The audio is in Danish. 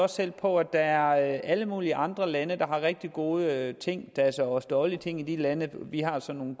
selv på at der er alle mulige andre lande der har rigtig gode ting der er så også dårlige ting i de lande vi har så nogle